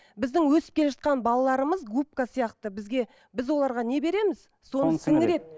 біздің өсіп келе жатқан балаларымыз губка сияқты бізге біз оларға не береміз соны сіңіреді